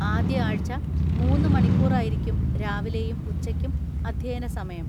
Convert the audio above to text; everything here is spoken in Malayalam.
ആദ്യ ആഴ്ച മൂന്ന് മണിക്കൂറായിരിക്കും രാവിലെയും ഉച്ചയ്ക്കും അധ്യയന സമയം.